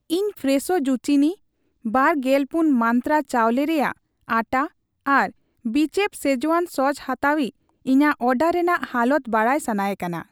ᱤᱧ fresh zucchini, ᱵᱟᱨ ᱜᱮᱞᱯᱩᱱᱢᱟᱱᱛᱨᱟ ᱪᱟᱣᱞᱮ ᱨᱮᱭᱟᱜ ᱟᱴᱷᱟ ᱟᱨ ᱵᱤᱪᱮᱯᱷ ᱥᱮᱡᱣᱟᱱ ᱥᱚᱥ ᱦᱟᱛᱟᱣᱤᱡᱽ ᱤᱧᱟᱜ ᱚᱰᱟᱨ ᱨᱮᱱᱟᱜ ᱦᱟᱞᱚᱛ ᱵᱟᱰᱟᱭ ᱥᱟᱱᱟᱭᱮ ᱠᱟᱱᱟ ᱾